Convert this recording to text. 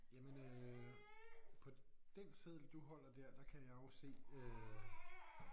Jamen øh på den seddel du holder dér der kan jeg jo se øh